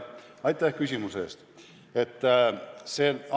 Aitäh küsimuse eest!